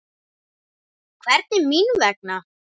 Hvernig mín vegna?